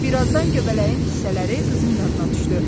Birazdan göbələyin hissələri qızın yadına düşdü.